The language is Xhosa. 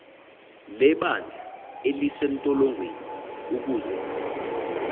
lebandla elisentolongweni ukuze